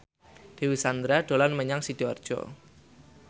Dewi Sandra dolan menyang Sidoarjo